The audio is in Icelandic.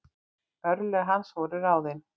Örlög hans voru ráðin.